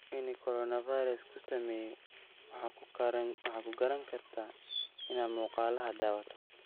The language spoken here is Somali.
Inu korona fairas kusameye waxa kukaranikartaa ina muqaladha dhawatidh.